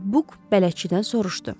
Buk bələdçidən soruşdu.